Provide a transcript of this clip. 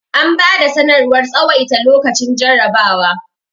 an bada sanarwar tsawaita lokacin jarrabawa